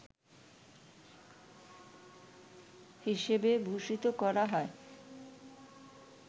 হিসেবে ভূষিত করা হয়